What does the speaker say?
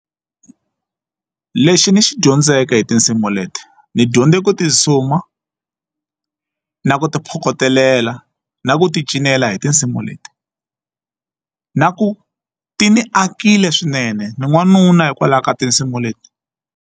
Lexi ni xi dyondzeke hi tinsimu leti ni dyondze ku ti suma na ku ti phokotelela na ku ti cinela hi tinsimu leti na ku ti ni akile swinene ni n'wanuna hikwalaho ka tinsimu leti.